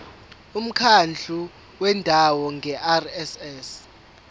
umkhandlu wendawo ngerss